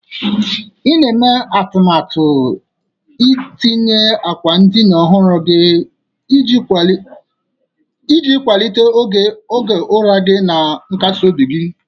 I na-eme atụmatụ itinye akwa ndina ọhụrụ iji kwalite ogo ụra gị na nkasi obi gị.